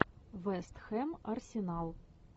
вест хэм арсенал